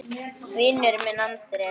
Vinur minn Andrés!